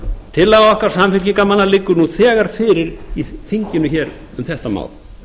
tillaga okkar samfylkingarmanna liggur nú þegar fyrir í þinginu hér um þetta mál